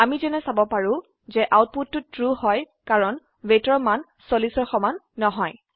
আমি যেনে চাব পাৰো যে আউটপুটটো ট্ৰু হয় কাৰণ weightৰ মান 40ৰ সমান নহয়